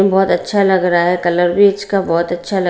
बहुत अच्छा लग रहा है कलर भी इसका बहुत अच्छा लग--